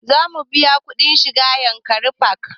Za mu biya kuɗin shiga yankari park